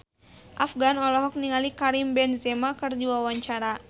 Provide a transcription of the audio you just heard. Afgan olohok ningali Karim Benzema keur diwawancara